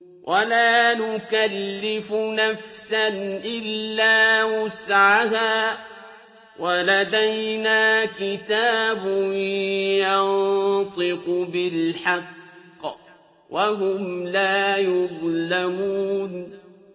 وَلَا نُكَلِّفُ نَفْسًا إِلَّا وُسْعَهَا ۖ وَلَدَيْنَا كِتَابٌ يَنطِقُ بِالْحَقِّ ۚ وَهُمْ لَا يُظْلَمُونَ